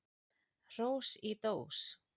Hrós í dós.